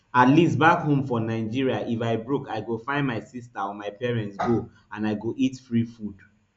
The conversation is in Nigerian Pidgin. at least back home for nigeria if i broke i go find my sister or my parents go and i go eat free food